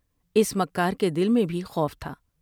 اس مکار کے دل میں بھی خوف تھا ۔